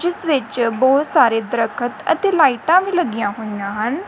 ਜਿਸ ਵਿੱਚ ਬਹੁਤ ਸਾਰੇ ਦਰਖਤ ਅਤੇ ਲਾਈਟਾਂ ਵੀ ਲਗੀਆਂ ਹੋਈਆਂ ਹਨ।